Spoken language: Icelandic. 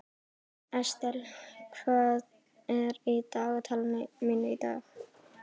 Estel, hvað er í dagatalinu mínu í dag?